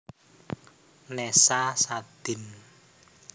Nessa Sadin